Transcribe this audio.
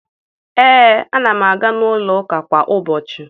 Ee, ana m aga n'ụlọụka kwa ụbọchị